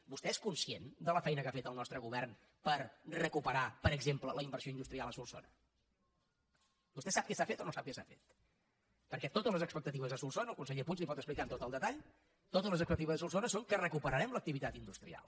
vostè és conscient de la feina que ha fet el nostre govern per recuperar per exemple la inversió industrial a solsona vostè sap què s’ha fet o no sap què s’ha fet perquè totes les expectatives a solsona el conseller puig li ho pot explicar amb tot el detall són que recuperarem l’activitat industrial